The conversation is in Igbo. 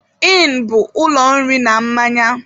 ỊỊnụ bụ ụlọ nri na mmanya.